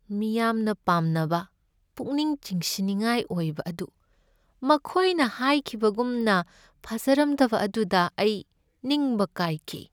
ꯃꯤꯌꯥꯝꯅ ꯄꯥꯝꯅꯕ ꯄꯨꯛꯅꯤꯡ ꯆꯤꯡꯁꯤꯟꯅꯤꯡꯉꯥꯏ ꯑꯣꯏꯕ ꯑꯗꯨ ꯃꯈꯣꯏꯅ ꯍꯥꯏꯈꯤꯕꯒꯨꯝꯅ ꯐꯖꯔꯝꯗꯕ ꯑꯗꯨꯗ ꯑꯩ ꯅꯤꯡꯕ ꯀꯥꯏꯈꯤ꯫